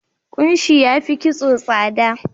Kunshi ya fi kitso tsada.